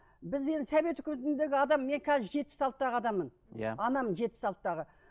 біз енді совет өкіметіндегі адам мен қазір жетпіс алтыдағы адаммын иә анамын жетпіс алтыдағы